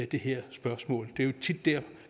det her spørgsmål det er jo tit der